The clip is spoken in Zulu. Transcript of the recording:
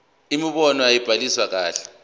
imibono ayibhaliwe kahle